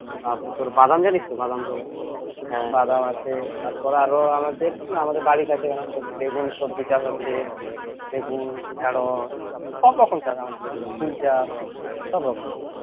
তারপর তোর বাদাম জানিস তো বাদাম করে তারপর আরো আছে আরো আমাদের বাড়ির কাছে বেগুন সবজি চাষ আছে বেগুন ঢেঁড়স সবরকম চাচা আমাদের ওদিকে ফুল চাষ সবরকম